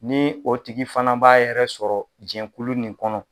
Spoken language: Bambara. Ni o tigi fana b'a yɛrɛ sɔrɔ jɛnkulu nin kɔnɔ